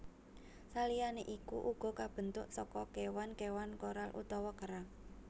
Saliyané iku uga kabentuk saka kéwan kéwan koral utawa kerang